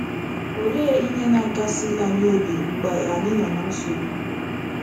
Olee ihe na - akasi anyị obi mgbe anyị nọ na nsogbu?